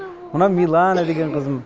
мынау милана деген қызым